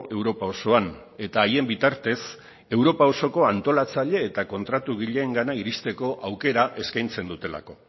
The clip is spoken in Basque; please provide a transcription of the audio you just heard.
europa osoan eta haien bitartez europa osoko antolatzaile eta kontratugileengana iristeko aukera eskaintzen dutelako